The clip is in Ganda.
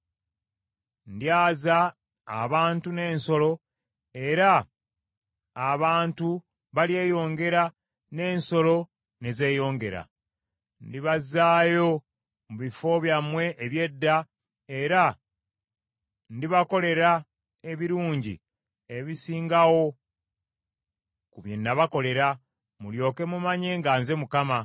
Ndyaza abantu n’ensolo, era abantu balyeyongera n’ensolo ne zeeyongera. Ndibazzaayo mu bifo byammwe eby’edda, era ndibakolera ebirungi ebisingawo ku bye nabakolera, mulyoke mumanye nga nze Mukama .